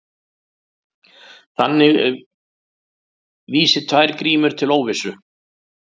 Þannig vísi tvær grímur til óvissu.